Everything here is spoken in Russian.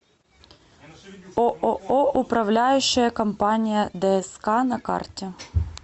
ооо управляющая компания дск на карте